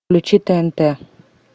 включи тнт